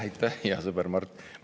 Aitäh, hea sõber Mart!